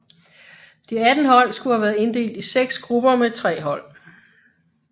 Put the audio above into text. De 18 hold skulle have været inddelt i seks grupper med tre hold